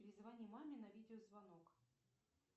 перезвони маме на видеозвонок